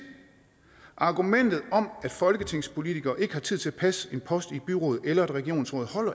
argumentet om at folketingspolitikere ikke har tid til at passe en post i et byråd eller et regionsråd